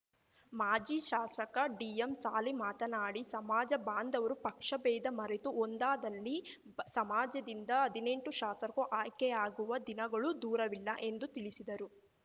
ಮಾಜಿ ಶಾಸಕ ಡಿಎಂ ಸಾಲಿ ಮಾತನಾಡಿ ಸಮಾಜ ಬಾಂಧವರು ಪಕ್ಷ ಭೇದ ಮರೆತು ಒಂದಾದಲ್ಲಿ ಸಮಾಜದಿಂದ ಹದಿನೆಂಟು ಶಾಸಕ್ರು ಆಯ್ಕೆಯಾಗುವ ದಿನಗಳು ದೂರವಿಲ್ಲ ಎಂದು ತಿಳಿಸಿದರು